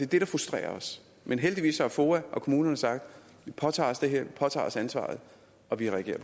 det der frustrerer os men heldigvis har foa og kommunerne sagt vi påtager os det her vi påtager os ansvaret og vi reagerer